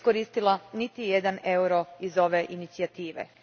iskoristila niti jedan euro iz ove Inicijative.